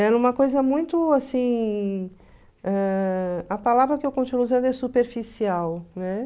Era uma coisa muito assim... Ãh... A palavra que eu continuo usando é superficial, né?